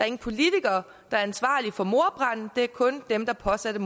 ingen politikere der er ansvarlig for mordbranden det er kun dem der påsatte